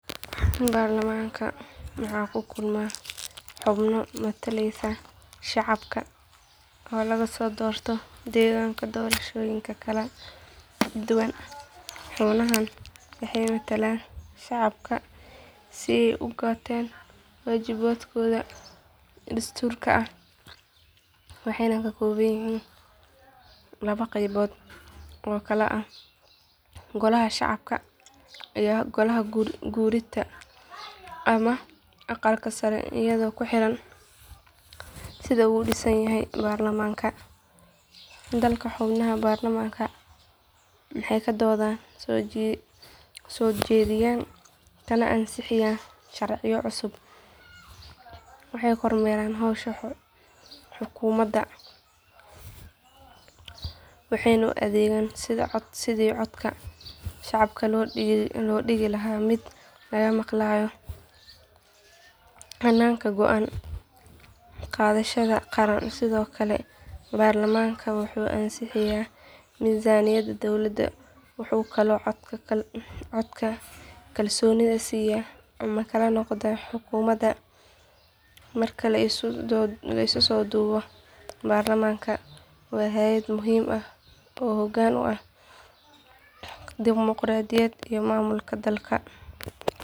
Baarlamaanka waxaa ku kulma xubno matalaya shacabka oo laga soo doorto deegaan doorashooyin kala duwan xubnahan waxay metelaan shacabka si ay u gutaan waajibaadkooda dastuuriga ah waxayna ka kooban yihiin laba qaybood oo kala ah golaha shacabka iyo golaha guurtida ama aqalka sare iyadoo ku xiran sida uu u dhisan yahay baarlamaanka dalka xubnaha baarlamaanka waxay ka doodaan soo jeediyaan kana ansixiyaan sharciyo cusub waxay kormeeraan howsha xukuumadda waxayna u adeegaan sidii codka shacabka looga dhigi lahaa mid laga maqlayo hannaanka go’aan qaadashada qaran sidoo kale baarlamaanka wuxuu ansixiyaa miisaaniyadda dowladda wuxuu kaloo codka kalsoonida siyaa ama kala noqdaa xukuumadda marka la isku soo duubo baarlamaanka waa hay’ad muhiim ah oo hoggaan u ah dimoqraadiyadda iyo maamulka dalka.